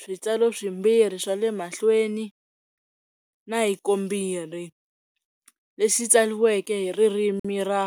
switsalo swimbirhi swa le mahlweni na hikombirhi lexi tsariweke hi ririmi ra.